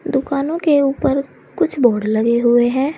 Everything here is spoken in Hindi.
दुकानों के ऊपर कुछ बोर्ड लगे हुए हैं।